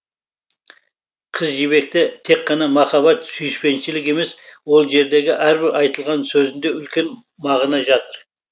қыз жібекте тек қана махаббат сүйіспеншілік емес ол жердегі әрбір айтылған сөзінде үлкен мағына жатыр